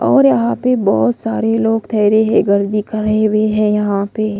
और यहां पे बहुत सारे लोग ठहरे हैं घर दिख रहे हुए हैं यहां पे।